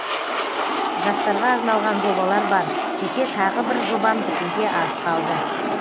жастарға арналған жобалар бар жеке тағы бір жобам бітуге аз қалды